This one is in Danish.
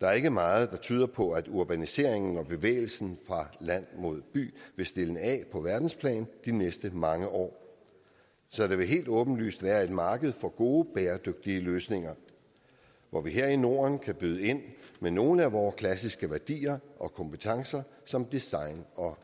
der er ikke meget der tyder på at urbaniseringen og bevægelsen fra land mod by vil stilne af på verdensplan de næste mange år så der vil helt åbenlyst være et marked for gode bæredygtige løsninger hvor vi her i norden kan byde ind med nogle af vore klassiske værdier og kompetencer som design og